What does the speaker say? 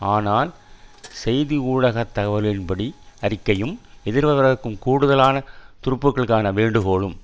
ஆனால் செய்தி ஊடக தகவல்கள்படி அறிக்கையும் எதிர்வரவிருக்கும் கூடுதலான துருப்புக்களுக்கான வேண்டுகோளும்